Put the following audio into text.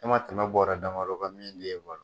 E ma tɛmɛ bɔra dama dɔ kan min b'e balo.